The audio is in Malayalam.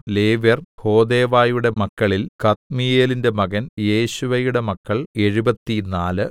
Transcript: ലേവ്യർ ഹോദെവയുടെ മക്കളിൽ കദ്മീയേലിന്റെ മകൻ യേശുവയുടെ മക്കൾ എഴുപത്തിനാല്